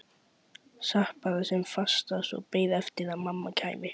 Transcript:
Sat bara sem fastast og beið eftir að mamma kæmi.